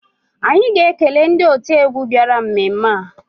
Anyị ga-ekele ndị otiegwu bịara mmemme a